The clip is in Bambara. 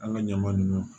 An ka ɲaman nunnu